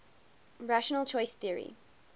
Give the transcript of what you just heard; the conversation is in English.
rational choice theory